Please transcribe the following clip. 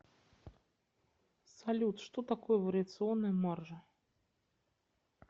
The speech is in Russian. салют что такое вариационная маржа